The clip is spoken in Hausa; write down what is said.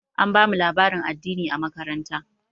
An bamu labarin addini a makaranta.